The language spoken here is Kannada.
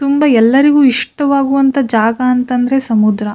ತುಂಬ ಎಲ್ಲರಿಗು ಇಷ್ಟವಾಗುವಂತ ಜಾಗ ಅಂತಂದ್ರೆ ಸಮುದ್ರ.